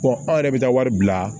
anw yɛrɛ bɛ taa wari bila